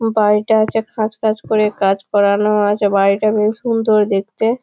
বাড়িটা আছে খাঁজ খাঁজ করে কাজ করানো আছে বাড়িটা বেশ সুন্দর দেখতে ।